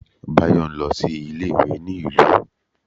Bayo n lọ sí ilé ìwé ní ìlú